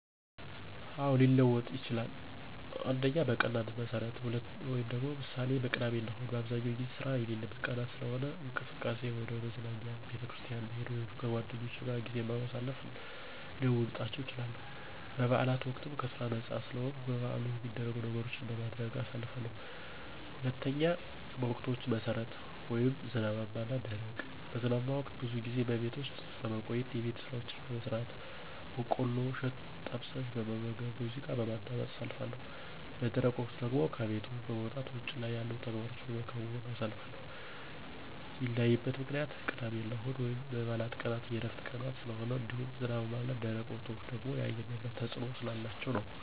አዎ፣ ሊለወጥ ይችላል። 1. በቀናት መሠረት ( ምሳሌ፦ ቅዳሜና እሁድ) በአብዛኛው ጊዜ ስራ የሌለባቸው ቀናት ስለሆኑ፣ እንቅስቃሴየ ወደ መዝናኛ፣ ቤተክርስቲያን መሄድ ወይም ከጓደኞቼ ጋር ጊዜ በማሳለፍ ልለውጣቸው እችላለሁ። በበዓላት ወቅትም ከስራ ነፃ ስለምሆን በበዓሉ ሚደረጉ ነገሮችን በማድረግ አሳልፋለሁ። 2. በወቅቶች መሠረት ( ዝናባማ እና ደረቅ ) በዝናባማ ወቅት ብዙ ጊዜ በቤት ውስጥ በመቆየት የቤት ስራዎችን በመስራት፣ በቆሎ እሸት ጠብሸ በመመገብና ሙዚቃ በማዳመጥ አሳልፋለሁ። _ በደረቅ ወቅት ደግሞ ከቤት በመውጣት ውጭ ላይ ያሉ ተግባሮቸን በመከወን አሳልፋለሁ። ሚለያይበት ምክንያትም ቅዳሜና እሁድ ወይም የበዓላት ቀናት የዕረፍት ቀናት ስለሆኑ እንዲሁም ዝናባማ እና ደረቅ ወቅቶች ደግሞ የአየር ንብረት ተፅዕኖ ስላላቸው ነዉ።